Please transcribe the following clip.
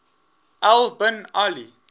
al bin ali